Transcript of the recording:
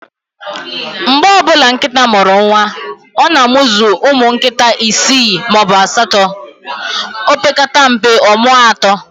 Mgbe ọbụla nkịta mụrụ nwa, ọ na amuzu ụmụ nkịta isi maọbụ asatọ, opekata mpe, ọmụọ atọ